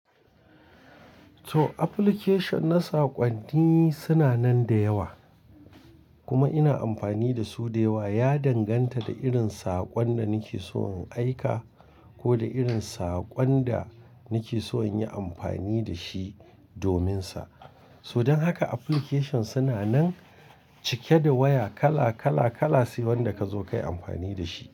To application na saƙonni suna nan da yawa kuma ina amfani da su da yawa. Ya danganta da irin saƙon da nake so in aika ko da irin saƙon da nake so in yi amfani da shi dominsa. So dan haka application suna nan cike da waya kala, kala, kala sai wanda ka zo kayi amfani da shi.